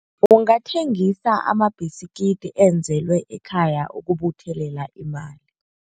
Ungathengisa amabhiskidi enzelwe ekhaya ukubuthelela imali.